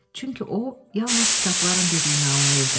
Çünki o yalnız kitabların dediyini anlayırdı.